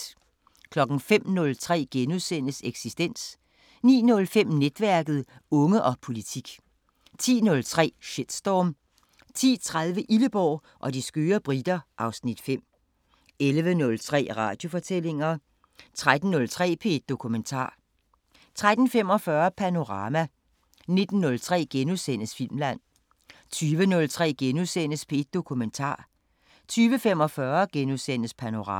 05:03: Eksistens * 09:05: Netværket: Unge og politik 10:03: Shitstorm 10:30: Illeborg og de skøre briter (Afs. 5) 11:03: Radiofortællinger 13:03: P1 Dokumentar 13:45: Panorama 19:03: Filmland * 20:03: P1 Dokumentar * 20:45: Panorama *